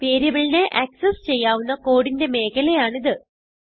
വേരിയബിളിനെ ആക്സസ് ചെയ്യാവുന്ന കോഡിന്റെ മേഖലയാണിത്